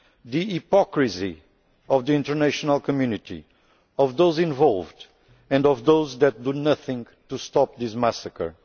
the hypocrisy of the international community, of those involved and of those that do nothing to stop this massacre.